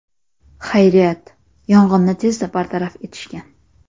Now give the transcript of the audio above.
Xayriyat, yong‘inni tezda bartaraf etishgan.